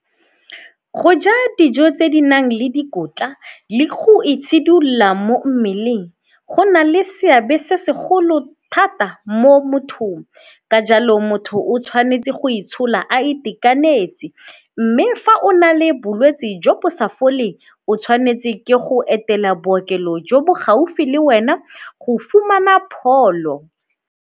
Go ja dijo tse di nang le dikotla le go itshidilola mo mmeleng go na le seabe se segolo thata mo mothong ka jalo motho o tshwanetse go itshola a itekanetse mme fa o na le bolwetsi jo bo sa foleng, o tshwanetse ke go etela bookelo jo bo gaufi le wena go fumana pholo.